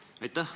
Aitäh!